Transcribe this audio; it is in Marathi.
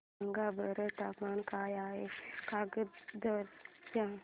सांगा बरं तापमान काय आहे काकरदरा चे